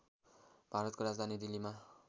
भारतको राजधानी दिल्लीमा